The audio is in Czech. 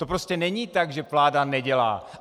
To prostě není tak, že vláda nedělá.